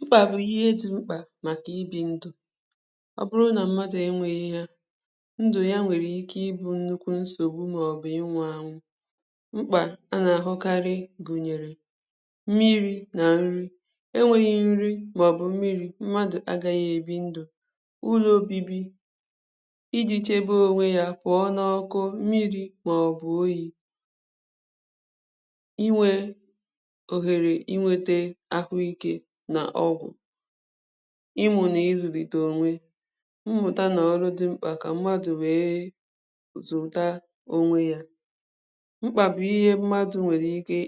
M̄kpà bụ̀ ihe dị m̄kpà makà ibi ndụ̀ ọ bụrụ̀ na mmadụ̀ enweghi yà ndụ̀ ya nwere ike ịbụ̀ nnukwu nsogbù maọ̀bụ̀ ịnwụanwụ̀ m̄kpà a na-ahụkarị̀ gunyerè mmiri na nrì e nweghì nrì maọ̀bụ̀ mmiri, mmadụ̀ agaghì ebi ndụ̀ ụlọ obibì iji chebe onwe yà pụọ̀ n’ọkụ̀ mmiri maọ̀bụ̀ oyiì inwe ohere inwete ahụike na ọgwụ̀ ịnwụ̀ na izulite onwè mmutà na ọrụ dị m̄kpà kà mmadụ̀ wee zụtà onwe yà m̄kpà bụ̀ ihe mmadụ̀ nwere ike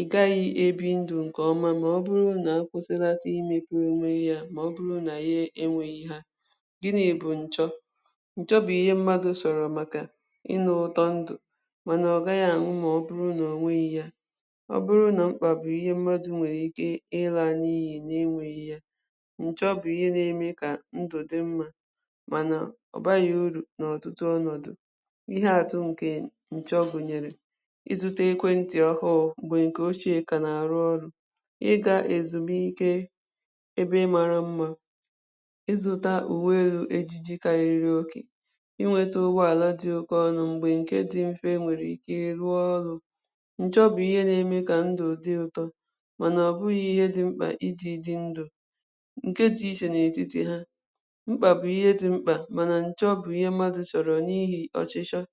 ị gaghị ebi ndụ̀ nke ọmà maọ̀bụrụ̀ nà kwụsịlatà ime wee mee yà maọ̀bụ̀rụ̀ na ya enweghì ha gịnị bụ̀ njọ̀? Njọ̀ bụ̀ ihe mmadụ̀ sọrọ̀ makà Ịnụ̀ ụtọ̀ ndụ̀ ma na ọgaghị̀ anwụ̀ maọ̀bụ̀rụ̀ na o nweghì yà maọ̀bụ̀rụ̀ na m̄kpà bụ̀ ihe mmadụ̀ nwere ike ịlaniyì na-enweghì yà njọ̀ bụ̀ ihe na-eme kà ndụ̀ dị̀ mma manà ọbaghị̀ uru n’ọtụtụ ọnọdụ̀ ihe atụ̀ nke njọ̀ gunyerè ịzụtà ekwentị̀ ọhụụ̀ mgbe nke oche ka na-arụ̀ ọrụ ịga ezumuike ebe marà mma ịzụtà uwe ughe dịkarịrị okè inwetà ụgbọalà dị̀ oke ọnụ̀ mgbe nke dị̀ mfe nwere ike rụọ ọrụ̀ njọ̀ bụ̀ ihe na-eme kà ndụ̀ dị̀ ụtọ mana ọbụghị̀ ihe dị̀ m̄kpà iji dị ndụ̀ nke dị̀ iche n’etiti ha m̄kpà bụ̀ ihe dị̀ m̄kpà manà njọ̀ bụ̀ ihe mmadụ̀ chọrọ̀ n’ihi ọchịchọ̀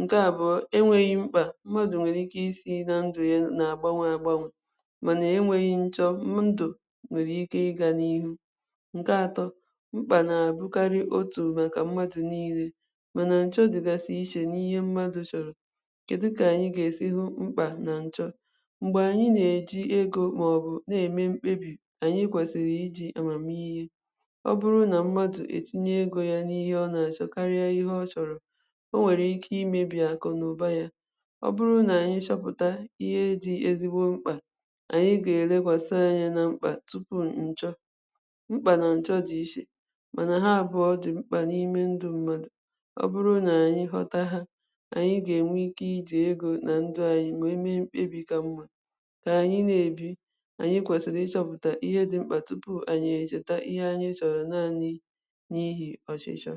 nke à bụ̀ enweghì m̄kpà mmadụ̀ nwere ike isi na ndụ̀ ya n’agbanwe agbanwe manà enweghì njọ̀, ndụ̀ nwere ike ịga n’ihù nke atọ̀ m̄kpà na-abụkarị̀ otù makà mmadụ̀ niile manà njọ̀ dịgasị̀ iche n’ihe mmadụ̀ chọrọ̀ kedù ka nayị̀ ga esi hụ m̄kpà na njọ̀? Mgbe anyị̀ na-eji egō maọ̀bụ̀ na-eme m̄kpebì anyị̀ kwesiri iji amamihe ọ bụrụ̀ nà mmadụ̀ etinye egō ya n’ihe ọ na-achọ̀ karie ihe ọ chọrọ̀ o nwere ike imebì akụ na ụbà yà ọ bụrụ̀ na anyị̀ chọpụtà ihe dị̀ ezigbo m̄kpà anyị̀ ga-elekwasị̀ anya na m̄kpà tu pu njọ̀ m̄kpà na njọ̀ dị iche manà ha abụọ̀ dị m̄kpà n’ime ndụ̀ mmasdụ̀ ọ bụrụ̀ na anyị̀ họta ha anyị̀ ga-enwe ike iji egō na ndụ̀ anyị̀ wee nwe mkpebi ka mma ka anyị̀ na-ebi anyị̀ kwesili ịchọpụtà ihe dị m̄kpà tupu anyị̀ echetà ihe anyị chọrọ naanị̀ n’ihi ọchịchọ̀